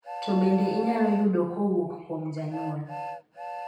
To bende inyalo yudo kowuok kuom janyuol?